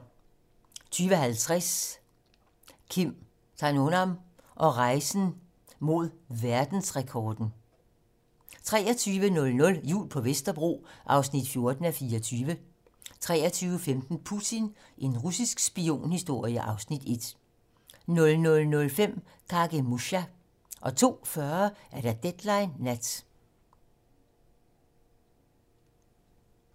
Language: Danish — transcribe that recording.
20:50: Kim Kanonarm og rejsen mod verdensrekorden 23:00: Jul på Vesterbro (14:24) 23:15: Putin - en russisk spionhistorie (Afs. 1) 00:05: Kagemusha 02:40: Deadline nat